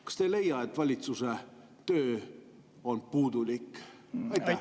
Kas te ei leia, et valitsuse töö on puudulik?